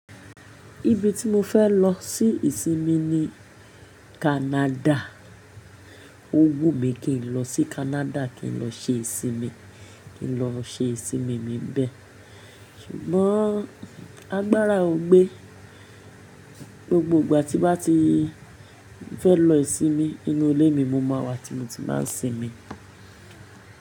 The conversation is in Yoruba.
Ibi tí mo fẹ́ lọ sí ìsinmi ni Canada. Òwú mi kì n lọ sí Canada, kí n lọ ṣe ìsinmi, kí n lọ ṣe ìsinmi mi nibẹ. Ṣùgbọ́n agbára ò gbé. Gbogbo ìgbà tí bá ti fẹ́ lọ ìsinmi nínú ilé mi, mo máa wà tí mo ti máa ń sinmi.